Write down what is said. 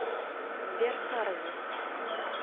сбер харви